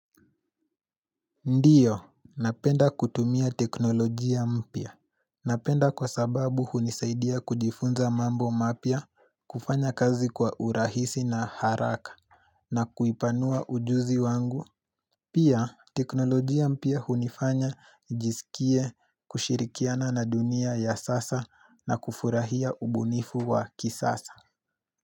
Ndiyo, napenda kutumia teknolojia mpia. Napenda kwa sababu hunisaidia kujifunza mambo mapya, kufanya kazi kwa urahisi na haraka, na kuipanua ujuzi wangu. Pia, teknolojia mpya hunifanya, jisikie, kushirikiana na dunia ya sasa, na kufurahia ubunifu wa kisasa.